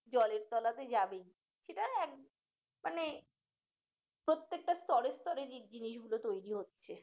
জলের তলাতে যাবেই সেটা এক মানে প্রত্যেকটা স্তরে স্তরে জিজিনিসগুলো তৈরি হচ্ছে